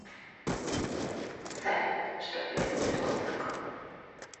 салют что производит гознак